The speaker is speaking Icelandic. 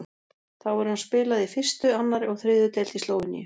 Þá hefur hann spilað í fyrstu, annarri og þriðju deild í Slóveníu.